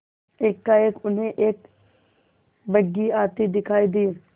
एकाएक उन्हें एक बग्घी आती दिखायी दी